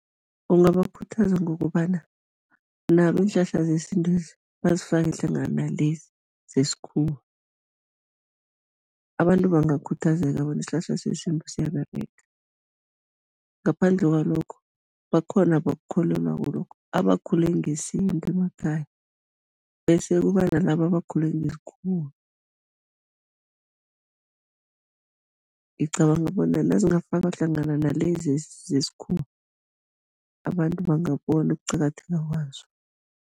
Ungabakhuthaza ngokobana nabo iinhlahla zesintwezi bazifake hlangana nalezi zesikhuwa. Abantu bangakhuthazeka bona isihlahla sesintu siyaberega, ngaphandle kwalokho, bakhona abakukholelwako lokhu, abakhule ngesintu emakhaya bese kuba nalaba abakhule ngesikhuwa, ngicabanga bona nazingafakwa hlangana nalezi zesikhuwa, abantu bangabona ukuqakatheka kwazo.